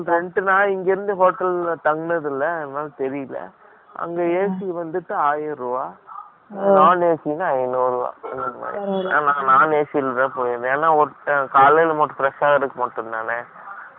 இல்லை. rent ன்னா, இங்க இருந்து, hotel ல தங்கனது இல்லை. அதனால, தெரியலே. அங்க AC வந்துட்டு, ஆயிரம் ரூபாய் Non AC ன்னா, I know . ஏன்னா, நான் நேசிக்கிறது. ஏன்னா, ஒருத்தன் காலையிலே மட்டும், fresh ஆகறதுக்கு மட்டும்தானே. அதுக்கப்புறம், mostly , அங்கே இருக்கிறது இல்லை